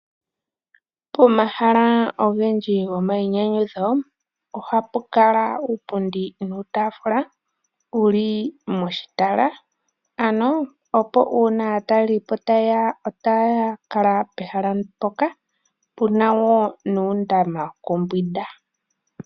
Pomahala ogendji gomainyanyudho oha pu kala iipundi yili metala , opo uuna aatalelipo ta yeya nena ohaa kuutumba metala moka. Oha pu adhika woo uundama wokuyoga mono aantu haa yi yakambwinde.